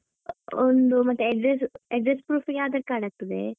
ಒಂದು ಮತ್ತೆ address address proof ಗೆ Aadhar Card ಆಗ್ತದೆ.